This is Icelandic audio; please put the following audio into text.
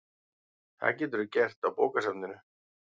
Það geturðu gert á bókasafninu